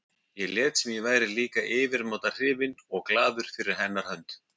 Ég lét sem ég væri líka yfirmáta hrifinn og glaður fyrir hennar hönd.